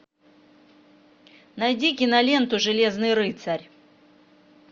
найди киноленту железный рыцарь